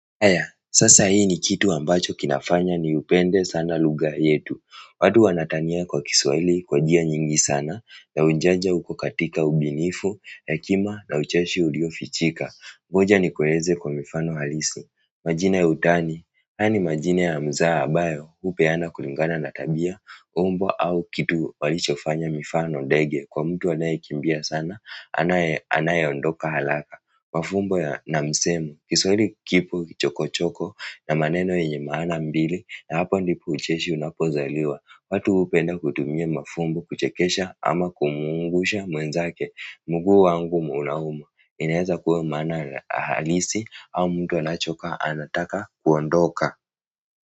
Haya, sasa hii ni kitu ambacho kinafanya nipende sana lugha yetu. Watu wanatania kwa Kiswahili kwa njia nyingi sana. Na unajua uko katika ubunifu, hekima na ucheshi uliofichika. Moja ni kueleza kwa mifano halisi. Majina ya utani, hayo ni majina ya mzaha ambayo hupeanwa kulingana na tabia, umbo au kitu walichofanya, mifano ndege kwa mtu anayekimbia sana, anayeondoka haraka. Mafumbo ya na misemi, kisori kipo kichokochoko na maneno ya maana mbili na hapa ndipo ucheshi unapozaliwa. Watu hupenda kutumia mafumbo kuchekesha ama kumchanganya mwenzake. Mguu wangu unauma, inaweza kuwa maana halisi au mtu anachoka anataka kuondoka.